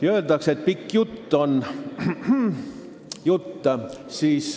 Öeldakse, et pikk jutt on ... jutt.